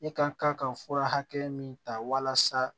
E ka kan ka fura hakɛ min ta walasa